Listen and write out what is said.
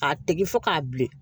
A tigi fo k'a bilen